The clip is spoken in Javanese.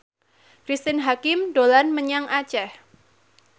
Cristine Hakim dolan menyang Aceh